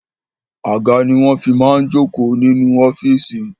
Àga ni wọn fi máa ń jókò inú ọ́fíìsì